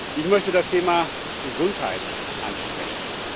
Ich möchte das Thema Gesundheit ansprechen.